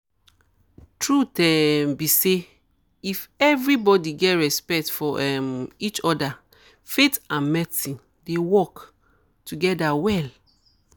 truth um be say if everybody get respect for um each other faith and medicine dey work together well